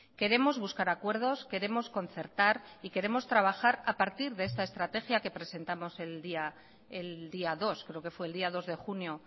queremos buscar acuerdos queremos concertar y queremos trabajar a partir de esta estrategia que presentamos el día dos creo que fue el día dos de junio